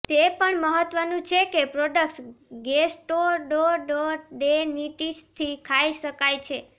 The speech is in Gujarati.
તે પણ મહત્વનું છે કે પ્રોડક્ટ્સ ગેસ્ટોડોડોડેનેટીસથી ખાઈ શકાય છે